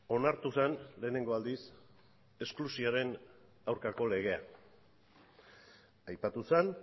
onartu zen lehenengo aldiz esklusioaren aurkako legea aipatu zen